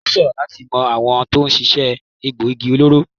Ó ṣòro láti mọ àwọn tó ń ṣiṣẹ́ egboògi olóró.